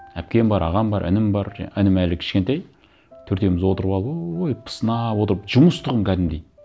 әпкем бар ағам бар інім бар інім әлі кішкентай төртеуіміз отырып алып ооой пысынап отырып жұмыс тұғын кәдімгідей